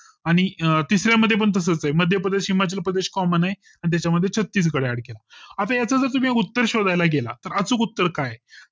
आणि अं तिसऱ्या मध्ये पण तसेच आहे मध्यप्रदेश हिमाचल प्रदेश comman आहे आणि त्याच्या मध्ये छत्तीसगढ add केलं याच जर उत्तर शोधायला गेलं तर अचूक उत्तर काय